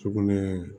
Sugunɛ